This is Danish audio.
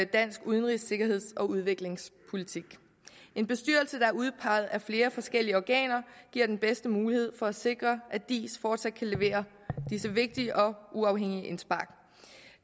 dansk udenrigs sikkerheds og udviklingspolitik en bestyrelse der er udpeget af flere forskellige organer giver den bedste mulighed for at sikre at diis fortsat kan levere disse vigtige og uafhængige indspark